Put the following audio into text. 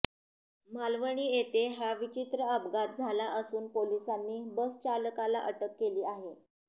मालवणी येथे हा विचित्र अपघात झाला असून पोलिसांनी बसचालकाला अटक केली आहे